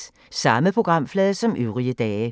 Samme programflade som øvrige dage